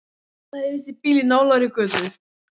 Það heyrist í bíl í nálægri götu.